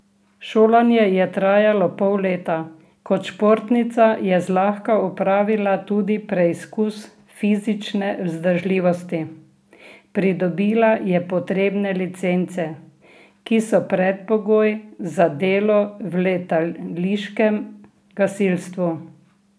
Šolanje je trajalo pol leta, kot športnica je zlahka opravila tudi preizkus fizične vzdržljivosti, pridobila je potrebne licence, ki so predpogoj za delo v letališkem gasilstvu.